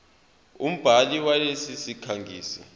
umbhali walesi sikhangisi